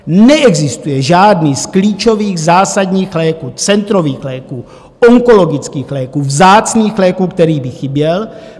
Neexistuje žádný z klíčových zásadních léků, centrových léků, onkologických léků, vzácných léků, který by chyběl.